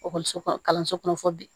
Ekɔliso kɔnɔ kalanso kɔnɔ fɔ bi